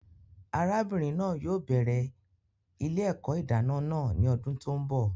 Arábìnrin náà yóò bẹrẹ ilé-èkó ìdáná náà ní ọdún tó n bọ